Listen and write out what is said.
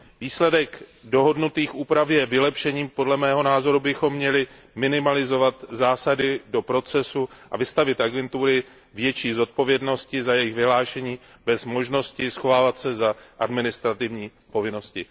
Výsledek dohodnutých úprav je vylepšením, podle mého názoru bychom měli minimalizovat zásahy do procesu a vystavit agentury větší zodpovědnosti za jejich vyhlášení bez možnosti schovávat se za administrativní povinnosti.